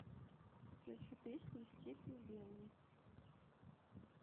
включи песню степью белой